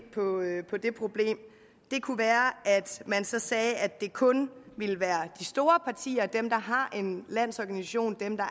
på det problem kunne være at man så sagde at det kun ville være de store partier dem der har en landsorganisation dem der